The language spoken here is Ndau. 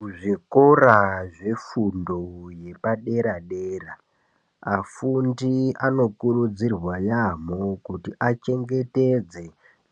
Muzvikora zve fundo yepa dera dera afundi ano kurudzirwa yamho kuti achengetedze